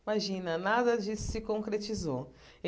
Imagina, nada disso se concretizou.